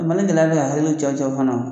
Mali bɛ ka gɛlɛya bɛ ka hakiliw cawucawu fana